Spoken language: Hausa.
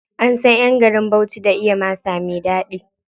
An san ƴan garin Bauchi da iya masa me ɗaɗi.